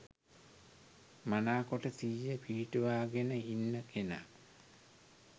මනාකොට සිහිය පිහිටුවාගෙන ඉන්න කෙනා